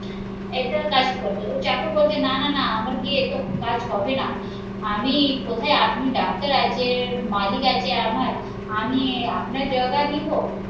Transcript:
এটা কাজ করছে ও চাকর বলছে না না না আমার বিয়ে তো কাজ হবে না আমি কোথায় আপনি ডাক্তার আছে, মালিক আছে আমার আমি আপনার জায়গা নিবো?